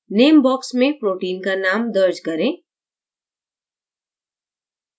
name box में protein का name दर्ज करें